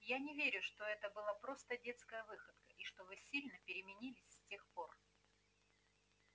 я не верю что это была просто детская выходка и что вы сильно переменились с тех пор